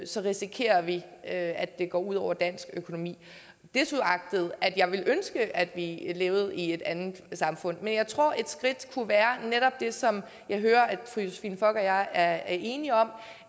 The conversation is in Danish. så risikerer vi at det går ud over dansk økonomi desuagtet at jeg ville ønske at vi levede i et andet samfund men jeg tror at et skridt kunne være netop det som jeg hører fru josephine fock og jeg er enige om